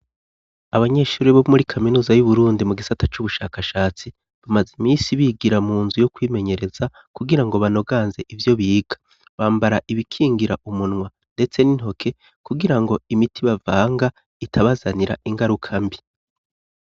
Abanyeshuri bo muri kaminuza y'Uburundi mu gisata c'ubushakashatsi, bamaze imisi bigira mu nzu yo kwimenyereza, kugira ngo banoganze ivyo biga. Bambara ibikingira umunwa ndetse n'intoke, kugira ngo imiti bavanga itabazanira ingaruka mbi.